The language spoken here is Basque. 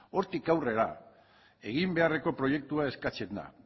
hortik aurrera egin beharreko proiektua eskatzen da